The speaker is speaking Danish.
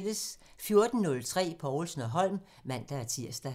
14:03: Povlsen & Holm (man-tir)